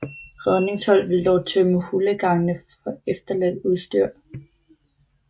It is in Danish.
Redningshold vil dog tømme hulegangene for efterladt udstyr